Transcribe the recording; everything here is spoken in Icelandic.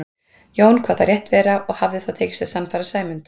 Jón kvað það rétt vera og hafði þá tekist að sannfæra Sæmund.